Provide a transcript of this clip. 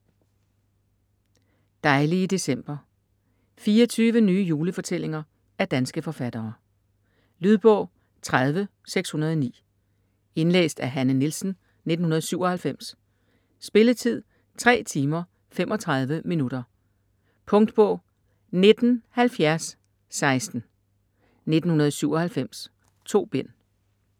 Dejlige december 24 nye julefortællinger af danske forfattere. Lydbog 30609 Indlæst af Hanne Nielsen, 1997. Spilletid: 3 timer, 35 minutter. Punktbog 197016 1997. 2 bind.